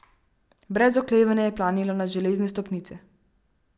Brez oklevanja je planila na železne stopnice.